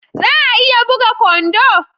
Za a iya buga kwando?